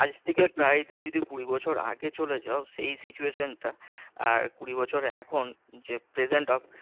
আজ থেকে প্রায় তুমি যদি কুড়ি বছর আগে চলে যাও সেই situation টা আর কুড়ি বছর এখন যে present অবস্থা